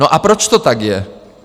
No a proč to tak je?